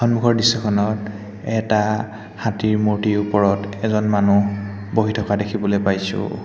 সন্মুখৰ দৃশ্য খনত এটা হাতীৰ মূৰ্ত্তি ওপৰত এজন মানুহ বহি থকা দেখিবলৈ পাইছোঁ।